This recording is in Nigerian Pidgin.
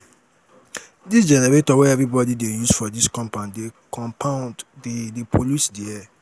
dis generator wey everybodi dey use for dis compound dey compound dey pollute di air.